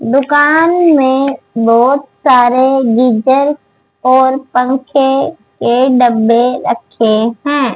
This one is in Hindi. दुकान में बहोत सारे गीजर और पंखे के डब्बे रखे हैं।